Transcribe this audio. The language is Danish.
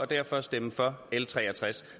derfor stemme for l tre og tres